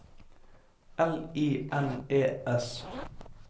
L I N E S